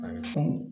A bɛ funu